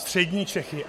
Střední Čechy.